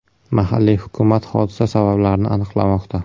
Mahalliy hukumat hodisa sabablarini aniqlamoqda.